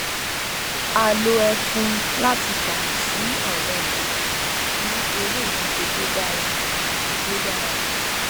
a lo ẹfun láti ṣàmì sí àwọn ìlà fún eré ìdíje tó dára àti tó yára